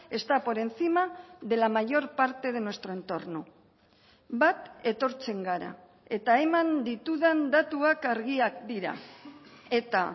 está por encima de la mayor parte de nuestro entorno bat etortzen gara eta eman ditudan datuak argiak dira eta